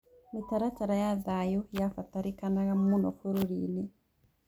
Mĩtaratara ya thayũ yabataranĩkaga mũno bũrũri-inĩ